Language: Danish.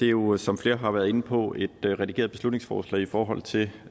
jo som flere har været inde på et redigeret beslutningsforslag i forhold til